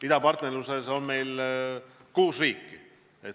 Idapartnerluse programmis on meil kuus riiki.